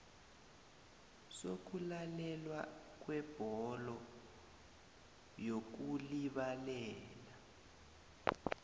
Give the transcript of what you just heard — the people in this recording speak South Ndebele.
sokulalelwa kwebhodo yokulibalela